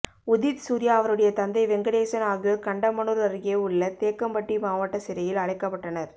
உதித்சூர்யா அவருடைய தந்தை வெங்கடேசன் ஆகியோர் கண்டமனூர் அருகே உள்ள தேக்கம்பட்டி மாவட்ட சிறையில் அடைக்கப்பட்டனர்